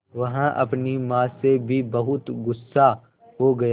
वह अपनी माँ से भी बहुत गु़स्सा हो गया